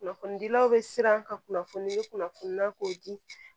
Kunnafonidilaw bɛ siran ka kunnafoni kunnafoni k'o di